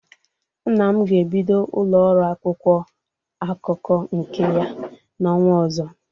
Nna m ga-ebido ụlọ ọrụ akwụkwọ akụkọ nke ya n'ọnwa ọzọ.